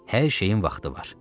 Hər şeyin vaxtı var.